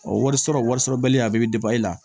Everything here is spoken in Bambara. Ɔ warisɔrɔ warisɔrɔbali a bɛɛ bɛ e la